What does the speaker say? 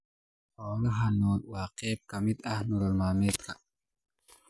Xoolaha nool waa qayb ka mid ah nolol maalmeedka.